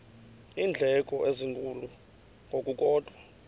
iindleko ezinkulu ngokukodwa